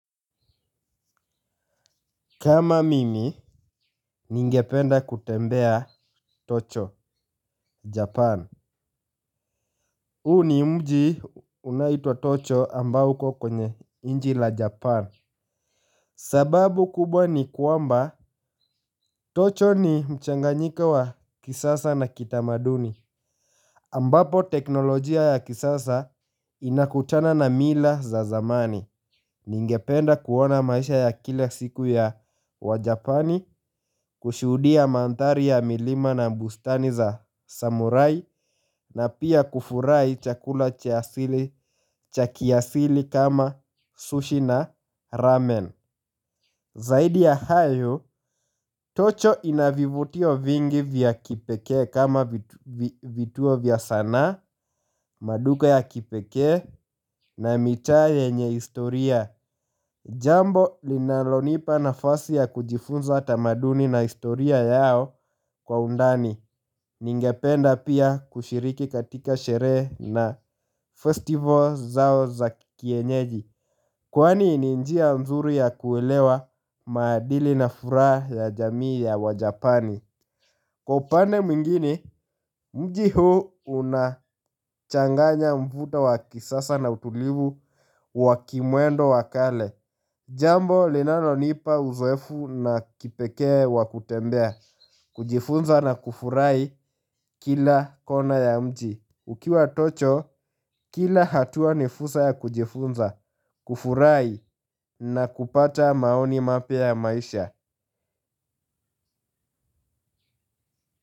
Kama mimi, ningependa kutembea Tokyo Japan. Huu ni mji unaoitwa tokyo ambao uko kwenye nchi la Japan. Sababu kubwa ni kwamba tokyo ni mchanganyika wa kisasa na kitamaduni. Ambapo teknolojia ya kisasa inakutana na mila za zamani. Ningependa kuona maisha ya kila siku ya wajapani kushuhudia mandhari ya milima na mlbustani za samurai na pia kufurahi chakula cha kiasili kama sushi na ramen. Zaidi ya hayo, Tokyo ina vivutio vingi vya kipekee kama vituo vya sanaa, maduka ya kipekee na mitaa yenye historia. Jambo linalonipa nafasi ya kujifunza tamaduni na historia yao kwa undani. Ningependa pia kushiriki katika sherehe na festival zao za kienyeji. Kwani ni njia mzuri ya kuelewa maadili na furaha ya jamii ya wajapani. Kwa upande mji huu unachanganya mvuto wa kisasa na utulivu wa kimwendo wa kale. Jambo linano nipa uzoefu na kipeke wa kutembea. Kujifunza na kufurahi kila kona ya mji. Ukiwa tokyo, kila hatua ni fursa ya kujifunza, kufurahi na kupata maoni mapya ya maisha.